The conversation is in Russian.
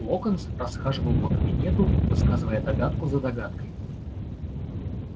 локонс расхаживал по кабинету высказывая догадку за догадкой